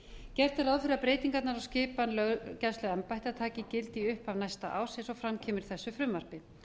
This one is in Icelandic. gert er ráð fyrir að breytingarnar á skipan löggæsluembætta taki gildi í upphafi næsta árs eins og fram kemur í þessu frumvarpi